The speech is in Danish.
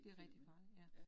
Det rigtig farligt, ja